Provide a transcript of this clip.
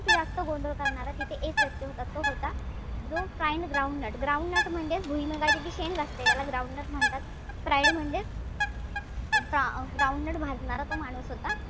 जास्त गोंधळ करणारा तिथे एक व्यक्ती होता तो होता जो fried groundnut groundnut म्हणजे भुईमूंगची जी शंग असते त्याला groundnut म्हणतात. Fried म्हणजेच अं groundnut भाजणारा तो माणूस होता.